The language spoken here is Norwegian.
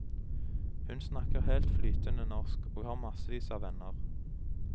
Hun snakker helt flytende norsk, og har massevis av venner.